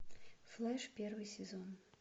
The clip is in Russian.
флэш первый сезон